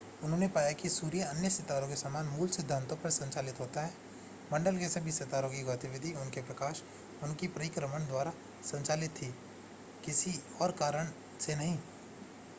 उन्होंने पाया कि सूर्य अन्य सितारों के समान मूल सिद्धांतों पर संचालित होता है मंडल के सभी सितारों की गतिविधि उनके प्रकाश उनके परिक्रमण द्वारा संचालित थी किसी और कारण से नहीं